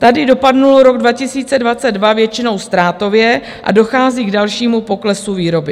Tady dopadl rok 2022 většinou ztrátově a dochází k dalšímu poklesu výroby.